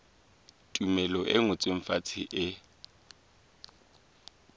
tumello e ngotsweng fatshe e